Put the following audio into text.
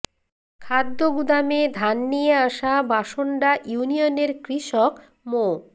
খাদ্য গুদামে ধান নিয়ে আসা বাসন্ডা ইউনিয়নের কৃষক মো